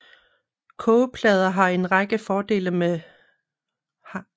Kogeplader har en række fordele frem for bunsenbrændere